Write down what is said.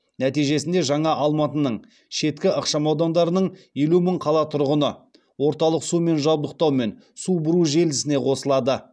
нәтижесінде жаңа алматының шеткі ықшамаудандарының елу мың қала тұрғыны орталық сумен жабдықтау мен су бұру желісіне қосылады